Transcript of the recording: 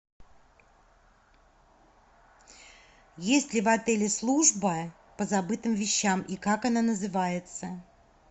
есть ли в отеле служба по забытым вещам и как она называется